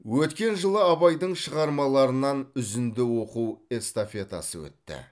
өткен жылы абайдың шығармаларынан үзінді оқу эстафетасы өтті